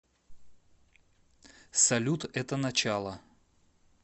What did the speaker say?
салют это начало